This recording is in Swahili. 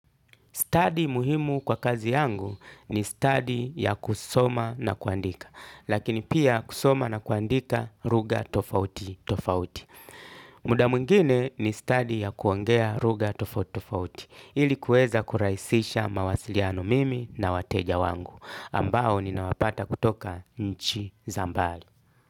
Study muhimu kwa kazi yangu ni stadi ya kusoma na kuandika. Lakini pia kusoma na kuandika lugha tofauti tofauti. Muda mwingine ni stadi ya kuongea lugha tofauti tofauti. Ili kuweza kurahisisha mawasiliano mimi na wateja wangu. Ambao ninawapata kutoka nchi za mbali.